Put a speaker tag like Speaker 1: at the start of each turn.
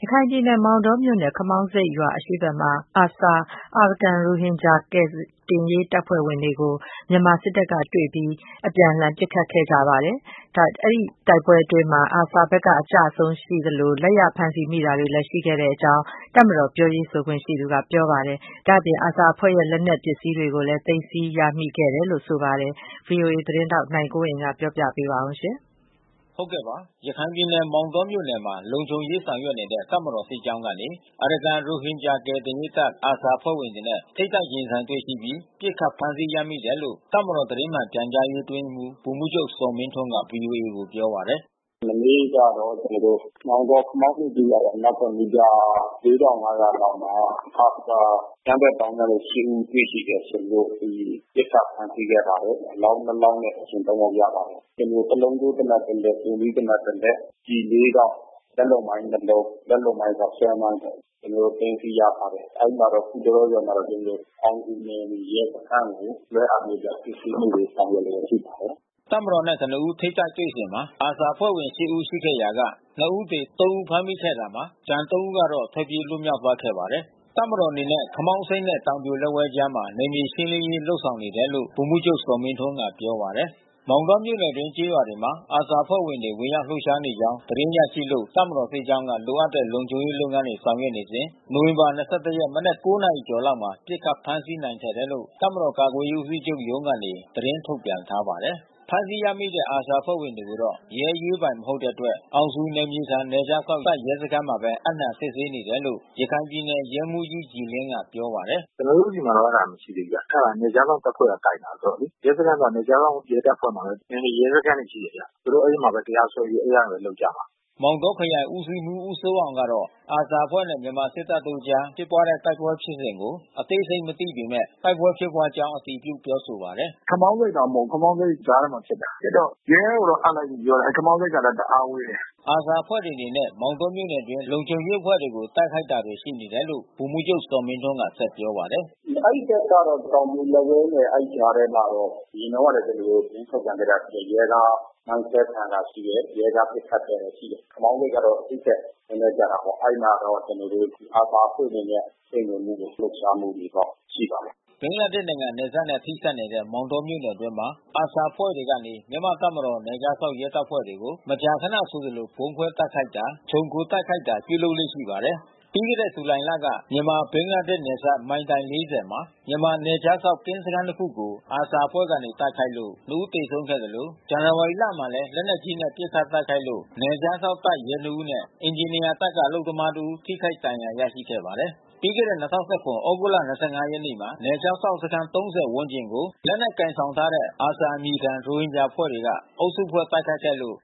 Speaker 1: ရခိုင်ပြည်နယ်၊ မောင်တောမြို့နယ်၊ ခမောင်းဆိပ်ရွာအရှေ့ဖက်မှာ ARSA အာရကန်ရိုဟင်ဂျာ ကယ်တင်ရေးတပ်ဖွဲ့ဝင် တွေကို မြန်မာစစ်တပ်ကနေ တွေ့ရှိပြီး ပစ်ခတ်တိုက်ခိုက်မှုအတွင်း ARSA ဘက်က ကျဆုံး အဖမ်းဆီးခံရမှုတွေ ရှိခဲ့ တယ်လို့ တပ်မတော် ပြောရေးဆိုခွင့်ရှိသူက ပြောပါတယ်။ ဒီလို ပစ်ခတ် တိုက်ခိုက်မှုဖြစ်စဉ်အတွင်း ARSA အဖွဲ့ရဲ့ လက်နက် ပစ္စည်းတွေကိုလဲ သိမ်းဆီးရရှိခဲ့တယ်လို့ တပ်မတော်ဖက်ကဆိုပါတယ်။ ဗွီအိုအေမြန်မာပိုင်းသတင်းထောက် နိုင်ကွန်းအိန် က ဆက်သွယ်မေးမြန်းသတင
Speaker 2: ်းပေးပို့ထားပါတယ်။
Speaker 1: ရခိုင်ပြည်နယ်၊ မောင်တောမြို့နယ်မှာ လုံခြုံရေးဆောင်ရွက်နေတဲ့ တပ်မတော်စစ်ကြောင်းကနေ အာရကန်ရိုဟင်ဂျာ ကယ်တင်ရေးတပ် ARSA အဖွဲ့ဝင်တွေနဲ့ ထိပ်တိုက်ရင်ဆိုင်တွေ့ရှိပြီး ပစ်ခတ် ဖမ်းဆီးရမိတယ်လို့ တပ်မတော် သတင်းမှန်ပြန်ကြားရေးအတွင်းရေးမှူး ဗိုလ်မှူးချုပ် ဇော်မင်းထွန်းက ဗွီအိုအေကို ပြောပါတယ်။
Speaker 2: “မနေ့ကတော့ကျွန်တော်တို့ မောင်တော၊ ခမောင်းဆိပ်ကျေးရွာရဲ့အနောက်ဖက် မီတာ လောက်မှာ ARSA အကြမ်းဖက် သောင်းကျန်းသူ ဦးတွေ့ရှိတယ်။ ကျွန်တော်တို့ပစ်ခတ် ဖမ်းဆီးခဲ့ပါတယ်။ အလောင်း လောင်းနဲ့ အရှင် ယောက်ရပါတယ်။ ကျွန်တော်တို့ တလုံးထိုး သေနတ်တလက်။ တူးမီးသေနတ်တလက် ၊ ကျည် တောင့် လက်လုပ်မိုင်း လုံး လက်လုပ်မိုင်းကဆွဲမိုင်းပေါ့။ ကျွန်တော်တို့သိမ်းဆီးရထားတယ်။ အဲဒီမှာတော့ အခုတလော ကျွန်တော်တို့ အောင်ဇူနယ်မြေရဲစခန်းကို လွှဲအပ်ပြီးတော့ စစ်ဆေးမှုတွေ ဆောင်ရွက်လျှက် ရှိပါတယ်။
Speaker 1: ” တပ်မတော်နဲ့ ကနဦး ထိပ်တိုက်တွေ့ဆုံစဉ်မှာ ARSA အဖွဲ့ဝင် ၈ ဦးရှိခဲ့ရာက ဦးသေ၊ ဦးဖမ်းမိခဲ့တာမှာ ကျန် ဦးကတော့ ထွက်ပြေးလွှတ်မြောက်သွားခဲ့ပါတယ်။ တပ်မတော်အနေနဲ့ ခမောင်းဆိပ်နဲ့ တောင်ပြိုလက်ဝဲအကြားမှာ နယ်မြေရှင်းလင်းရေး လုပ်ဆောင်နေတယ်လို့ ဗိုလ်မှူးချုပ် ဇော်မင်းထွန်းက ပြောပါတယ်။ မောင်တောမြို့နယ်အတွင်း ကျေးရွာတွေမှာ ARSA အဖွဲ့တွေ ဝင်ရောက် လှုပ်ရှားနေကြောင်း သတင်းရရှိလို့ တပ်မ တော် စစ်ကြောင်းက လိုအပ်တဲ့လုံခြုံရေး လုပ်ငန်းတွေဆောင်ရွက်စဉ် နိုဝင်ဘာလ ၂၁ ရက်မနက် နာရီကျော် လောက်မှာပစ်ခတ် ဖမ်းဆီးနိုင်ခဲ့တယ်လို့ တပ်မတော်ကာကွယ်ရေးဦးစီးချုပ်ရုံးကနေ သတင်းထုတ်ပြန်ထားပါတယ်။ ဖမ်းဆီးရမိတဲ့ ARSA အဖွဲ့ဝင်တွေကိုတော့ ရဲအရေးပိုင် မဟုတ်တဲ့အတွက် အောင်ဇူ နယ်မြေခံ နယ်ခြားစောင့်တပ် ရဲစခန်းမှာဘဲ အပ်နှံစစ်ဆေးနေတယ်လို့ ရခိုင်ပြည်နယ် ရဲမှူးကြီး ကြည်လင်းက ပြောပါတယ်။
Speaker 2: “ကျွန်တော်တို့ဆီမှာတော့ အဲတာမရှိသေးဘူးဗျ။ အဲတာနယ်ခြားစောင့်တပ်ဖွဲ့က ကိုင်တယ်ဆိုတော့လေ။ ရဲစခန်းဆိုတာ နယ်ခြားစောင့်ရဲတပ်ဖွဲ့မှာဘဲ နယ်မြေရဲစခန်းတွေရှိတယ်ဗျ။ သူတို့အဲဒီမှာဘဲတရားစွဲပြီး အဲဒီကနေပြီးလုပ်ကြမှာ။
Speaker 1: ” မောင်တောခရိုင်ဦးစီးမှူး ဦးစိုးအောင်ကတော့ ARSA အဖွဲ့နဲ့ မြန်မာ့စစ်တပ်တို့အကြား ဖြစ်ပွား တဲ့ တိုက်ပွဲဖြစ်စဉ်ကို အသေးစိတ် မသိပေမဲ့ တိုက်ပွဲဖြစ်ပွားကြောင်း အတည်ပြု ပြောဆိုပါတယ်
Speaker 2: ။ “ခမောင်းဆိပ်မှာ မဟုတ်ဘူး။ ခမောင်းဆိပ်ကြားထဲမှာ ဖြစ်တာ။ဖြစ်တော့ရဲကိုတော့ အပ်လိုက်ပြီ ပြောတယ်။ အဲဒီခမောင်းဆိပ်ကလဲ တအားဝေးတယ်
Speaker 1: ။” ARSA အဖွဲ့တွေအနေနဲ့ မောင်တောမြို့နယ်အတွင်းမှာ လုံခြုံရေးအဖွဲ့တွေကို တိုက်ခိုက်တာတွေ ရှိနေတယ်လို့ ဗိုလ်မှူးချုပ် ဇော်မင်းထွန်းက ဆက်ပြောပါတယ်။ “အဲဒီဘက်ကတ
Speaker 2: ော့ တောင်ပြိုလက်ဝဲနဲ့ အဲဒီကြားထဲမှာ အရင်တုန်းကလဲ ကျွန်တော်တို့ သတင်းထုတ်ပြန်တာ ရှိပါတယ်။ ရဲကား မိုင်းဆွဲခံရတာ ရှိတယ်။ ရဲကား ပစ်ခတ်ခဲ့တာရှိတယ်။ ခမောင်းဆိပ်ကတော့ သူ့ထက်နည်းနည်း ကျတာပေါ့။ အဲဒီမှာတော့ ကျွန်တော်တို့ ARSA အဖွဲ့အနေနဲ့ စိမ့်ဝင်မှုတွေ လှုပ်ရှားမှုတွေတော့ ရှိပါတယ်။
Speaker 1: ” ဘင်္ဂလားဒေ့ရ်ှနိုင်ငံနယ်စပ်နဲ့ထိစပ်နေတဲ့ မောင်တောမြို့နယ်အတွင်းမှာARSA အဖွဲ့တွေကနေ မြန်မာတပ်မတော် နယ်ခြားစောင့်ရဲအဖွဲ့တွေကို မကြာခဏ ဆိုသလို ဗုံးခွဲတိုက်ခိုက်တာ ခြုံခို တိုက်ခိုက်တာ ပြုလုပ်လေ့ရှိပါတယ်။ ပြီးခဲ့တဲ့ဇူလိုင်လမှာ မြန်မာ ဘင်္ဂလားဒေ့ရ်ှ နယ်စပ် မိုင်တိုင် မှာ မြန်မာနယ်ခြားစောင့် ကင်းစခန်းတခုကို ARSA အဖွဲ့ကတိုက်ခိုက်လို့ ဦး သေဆုံးခဲ့သလို ဇန်နဝါရီလမှာလည်း လက်နက်ကြီးနဲ့ ပစ်ခတ်တိုက်ခိုက်လို့ နယ်ခြားစောင့် တပ်ရဲ ဦးနဲ့ အင်ဂျင်နီယာတပ်က အလုပ်သမားတဦး ထိခိုက် ဒဏ်ရာရရှိခဲ့ပါတယ်။ ပြီးခဲ့တဲ့ ၂၀၁၇ သြဂုတ်လ ရက်နေ့မှာ နယ်ခြားစောင့်စခန်း ဝန်းကျင်ကို လက်နက်ကိုင်ဆောင်ထားတဲ့ ARSA အမည်ခံ ရိုဟင်ဂျာအဖွဲ့တွေက အုပ်စုဖွဲ့တိုက်ခိုက်ခဲ့လို့